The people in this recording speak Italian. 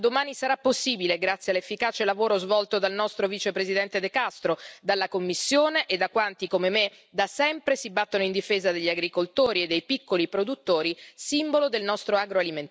Da domani sarà possibile farlo, grazie all'efficace lavoro svolto dal nostro vicepresidente De Castro, dalla Commissione e da quanti come me, da sempre, si battono in difesa degli agricoltori e dei piccoli produttori, simbolo del nostro agroalimentare.